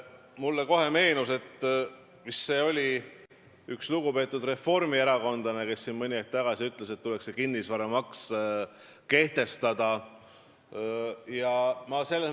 Mulle meenus kohe, et üks lugupeetud reformierakondlane ütles mõni aeg tagasi, et tuleks kehtestada kinnisvaramaks.